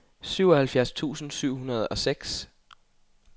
syvoghalvfjerds tusind syv hundrede og seks